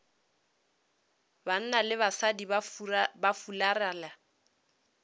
banna le basadi ba fularela